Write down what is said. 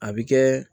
A bi kɛ